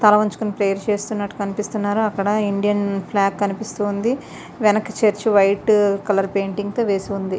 తల వంచుకుని ప్రేయర్ చేస్తునట్టు కనిపిస్తున్నారు. అక్కడ ఇండియన్ ఫ్లాగ్ కనిపిస్తుంది. వెనక్కి చర్చి వైట్ కలర్ పెయింటింగ్ తో వేసి ఉంది.